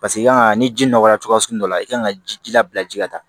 Paseke i kan ka ni ji nɔgɔya cogoya sugu dɔ la i kan ka ji labila ji la